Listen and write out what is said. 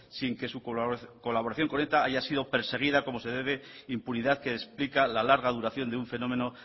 sin que su colaboración con eta haya sido perseguida como se debe impunidad que explica la larga duración de un fenómeno